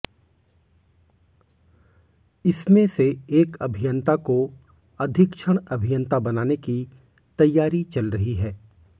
इसमें से एक अभियंता को अधीक्षण अभियंता बनाने की तैयारी चल रही है